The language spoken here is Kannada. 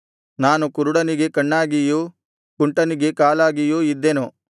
ನಾನು ಕುರುಡನಿಗೆ ಕಣ್ಣಾಗಿಯೂ ಕುಂಟನಿಗೆ ಕಾಲಾಗಿಯೂ ಇದ್ದೆನು